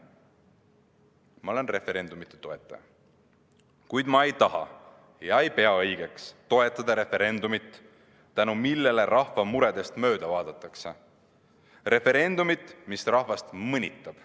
Ma olen referendumite toetaja, kuid ma ei taha ega pea õigeks toetada referendumit, mille tõttu rahva muredest mööda vaadatakse, referendumit, mis rahvast mõnitab.